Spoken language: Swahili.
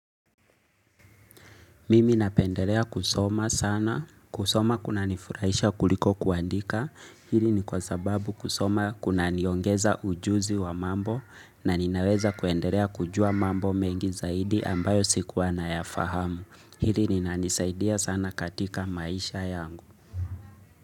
Mimi napendelea kusoma sana. Kusoma kunanifurahisha kuliko kuandika. Hili ni kwa sababu kusoma kunaniongeza ujuzi wa mambo na ninaweza kuendelea kujua mambo mengi zaidi ambayo sikuwa nayafahamu. Hili linanisaidia sana katika maisha yangu.